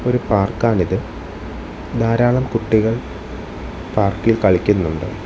ഒരു പാർക്കാണിത് ധാരാളം കുട്ടികൾ പാർക്കിൽ കളിക്കുന്നുണ്ട്.